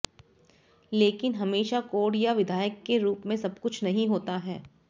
लेकिन हमेशा कोड या विधायक के रूप में सब कुछ नहीं होता है